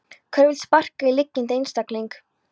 Hver vill sparka í liggjandi einstakling?